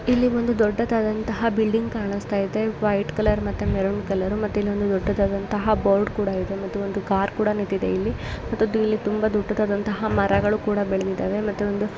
ಇಲ್ಲಿ ಒಂದು ದೊಡ್ಡದಾದಂಥಹ ಬಿಲ್ಡಿಂಗ್ ಕಾಣುಸ್ತಾಯಿದೆ ವೈಟ್ ಕಲರ್ ಮತ್ತೆ ಮೆರೂನ್ ಕಲರ್ ಮತ್ತೆ ಇಲ್ಲಿ ಒಂದು ದೊಡ್ಡದಾದಂಥಹ ಬೋರ್ಡ್ ಕೂಡ ಇದೆ ಮತ್ತು ಒಂದು ಕಾರ್ ಕೂಡ ನಿತ್ತಿದೆ. ಇಲ್ಲಿ ಮತ್ತೊಂದು ತುಂಬಾ ದೊಡ್ಡದಾದಂಥಹ ಮರಗಳು ಕೂಡ ಬೆಳ್ದಿದ್ದಾವೆ ಮತ್ತೆ ಒಂದು--